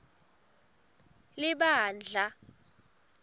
libandla